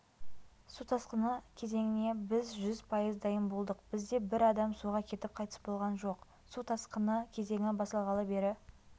су тасқыны кезеңіне біз жүз пайыз дайын болдық бірде бір адам суға кетіп қайтыс болған жоқ су тасқыны кезеңі басталғалы бері